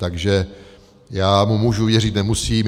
Takže já mu můžu věřit, nemusím.